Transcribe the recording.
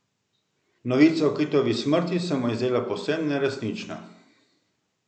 Novica o Kitovi smrti se mu je zdela povsem neresnična.